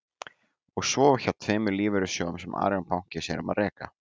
Og svo hjá tveimur lífeyrissjóðum sem Arion banki sér um að reka.